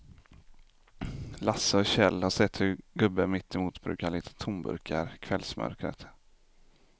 Lasse och Kjell har sett hur gubben mittemot brukar leta tomburkar i kvällsmörkret.